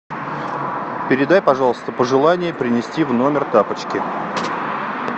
передай пожалуйста пожелание принести в номер тапочки